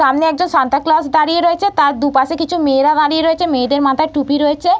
সামনে একজন Santa Claus দাঁড়িয়ে রয়েছে। তার দুপাশে কিছু মেয়েরা দাঁড়িয়ে রয়েছে মেয়েদের মাথায় টুপি রয়েছে ।